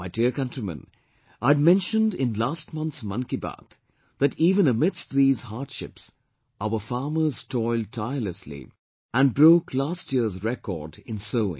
My dear countrymen, I had mentioned in last month's 'Mann Ki Baat' that even amidst these hardships our farmers toiled tirelessly and broke last year's record in sowing